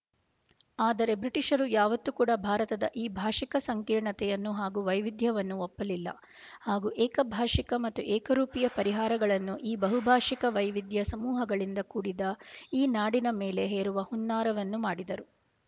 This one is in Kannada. ಆದರೆ ಬ್ರಿಟಿಷರು ಯಾವತ್ತು ಕೂಡ ಭಾರತದ ಈ ಭಾಷಿಕ ಸಂಕೀರ್ಣತೆಯನ್ನು ಹಾಗೂ ವೈವಿಧ್ಯವನ್ನು ಒಪ್ಪಲಿಲ್ಲ ಹಾಗೂ ಏಕಭಾಷಿಕ ಮತ್ತು ಏಕರೂಪಿಯ ಪರಿಹಾರಗಳನ್ನು ಈ ಬಹುಭಾಷಿಕ ವೈವಿಧ್ಯ ಸಮೂಹಗಳಿಂದ ಕೂಡಿದ ಈ ನಾಡಿನ ಮೇಲೆ ಹೇರುವ ಹುನ್ನಾರವನ್ನು ಮಾಡಿದರು